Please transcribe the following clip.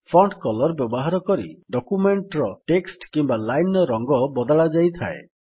font colour ବ୍ୟବହାର କରି document ର ଟେକ୍ସଟ୍ କିମ୍ୱା ଲାଇନ୍ ର ରଙ୍ଗ ବଦଳାଯାଇଥାଏ